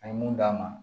A ye mun d'a ma